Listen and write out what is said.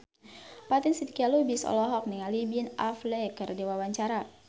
Fatin Shidqia Lubis olohok ningali Ben Affleck keur diwawancara